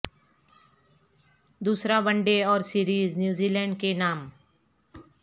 دوسرا one day اور series New Zealand نام